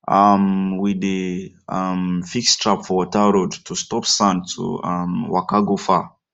um we dey um fix trap for water road to stop sand to um waka go far